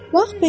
Bax belə: